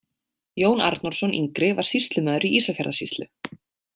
Jón Arnórsson yngri var sýslumaður í Ísafjarðarsýslu.